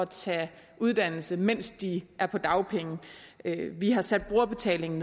tage uddannelse mens de er på dagpenge vi har sat brugerbetalingen